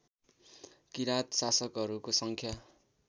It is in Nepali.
किराँत शासकहरूको सङ्ख्या